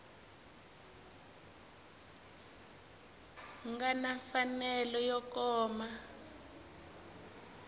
nga na mfanelo yo kuma